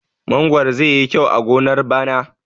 Mangwaro zai yi kyau a gonar bana.